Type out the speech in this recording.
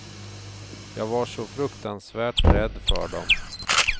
Jag var så fruktansvärt rädd för dom.